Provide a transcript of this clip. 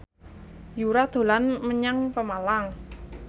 Yura dolan menyang Pemalang